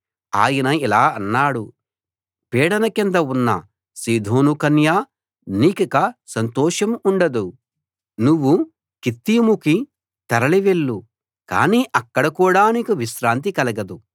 ఆయన ఇలా అన్నాడు పీడన కింద ఉన్న సీదోను కన్యా నీకిక సంతోషం ఉండదు నువ్వు కిత్తీముకి తరలి వెళ్ళు కానీ అక్కడ కూడా నీకు విశ్రాంతి కలగదు